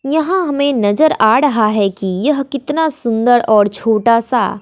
यहां हमें नजर आ रहा है कि यह कितना सुंदर और छोटा सा--